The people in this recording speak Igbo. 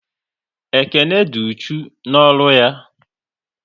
Ekene dị uchu n'ọrụ ya